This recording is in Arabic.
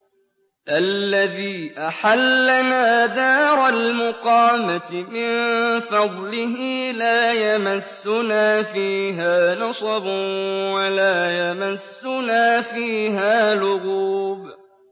الَّذِي أَحَلَّنَا دَارَ الْمُقَامَةِ مِن فَضْلِهِ لَا يَمَسُّنَا فِيهَا نَصَبٌ وَلَا يَمَسُّنَا فِيهَا لُغُوبٌ